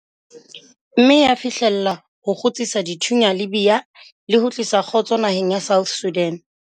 mme ya fihlella ho kgutsisa dithunya Libya le ho tlisa kgotso naheng ya South Sudan.